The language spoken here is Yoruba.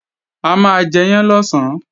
A máa jẹyán lọ̀sán